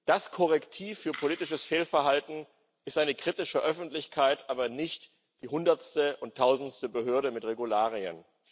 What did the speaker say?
Das Korrektiv für politisches Fehlverhalten ist eine kritische Öffentlichkeit, aber nicht die hundertste oder tausendste Behörde mit Regularien.